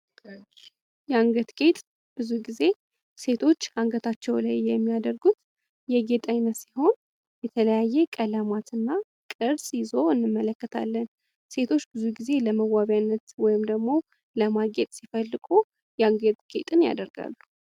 የአንገት ጌጥ ብዙ ጊዜ ሴቶች አንገታቸው ላይ የሚያደርጉት የጌጥ አይነት ሲሆን የተለያየ ቀለማትና ቅርጽ ይዞ እንመለከታለን። ሴቶች ብዙ ጊዜ ለመዋቢያነት ወይም ደግሞ ለማጌጥ ሲፈልጉ የአንገት ጌጥን ያደርጋሉ።